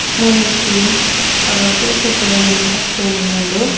ಮೂಲೊಂಜಿ ಹಾ ಕೇಸರಿ ಕಲರ್ ದ ಒಂಜಿ ಕ ತೋಜೊಂದುಂಡು.